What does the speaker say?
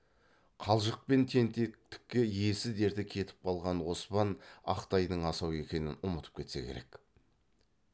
қалжық пен тентектікке есі дерті кетіп қалған оспан ақ тайдың асау екенін ұмытып кетсе керек